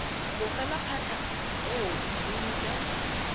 tlogela phatlha eo e ntse